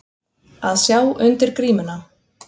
Að sjá undir grímuna